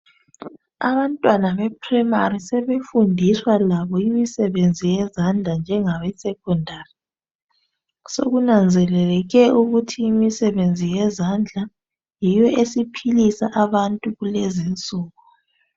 Abantwana bePrimary sebefundiswa labo imisebenzi yezandla njengabeSecondary. Sokunanzeleleke ukuthi imisebenzi yezandla yiyo esiphilisa abantu kulezinsuku.